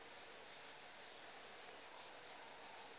e le gore o batla